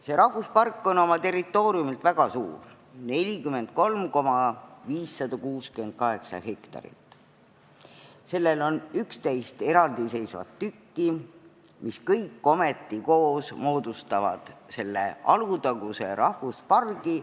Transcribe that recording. See on oma territooriumilt väga suur – 43 568 hektarit – ja sellel on 11 eraldiseisvat tükki, mis kõik koos moodustavad Alutaguse rahvuspargi.